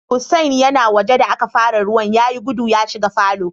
Hussain ya na waje da aka fara ruwan, ya yi guda ya shiga falo.